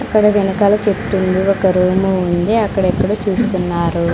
ఇక్కడ వెనకాల చెట్టుంది ఒక రూము ఉంది అక్కడెక్కడో చూస్తున్నారు.